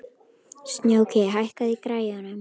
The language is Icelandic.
Snjóki, hækkaðu í græjunum.